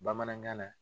Bamanankan na